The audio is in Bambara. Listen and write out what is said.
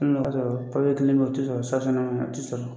kelen bɛ ye o tɛ sɔrɔ a tɛ sɔrɔ.